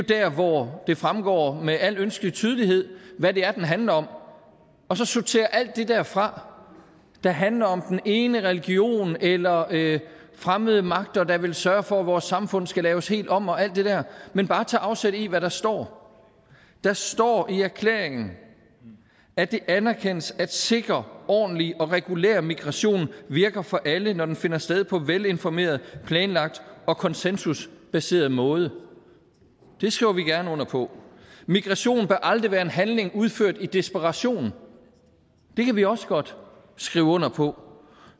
hvor det fremgår med al ønskelig tydelighed hvad det er den handler om og så sortere alt det der fra der handler om den ene religion eller fremmede magter der vil sørge for at vores samfund skal laves helt om og alt det der men bare tage afsæt i hvad der står der står i erklæringen at det anerkendes at en sikker ordentlig og regulær migration virker for alle når den finder sted på en velinformeret planlagt og konsensusbaseret måde det skriver vi gerne under på migration bør aldrig være en handling udført i desperation det kan vi også godt skrive under på